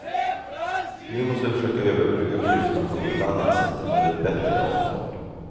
Nu måste vi försöka överbrygga klyftan på något annat sätt, med ett bättre avtal.